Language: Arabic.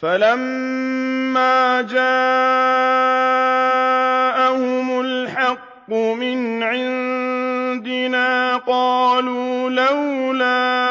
فَلَمَّا جَاءَهُمُ الْحَقُّ مِنْ عِندِنَا قَالُوا لَوْلَا